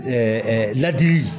ladili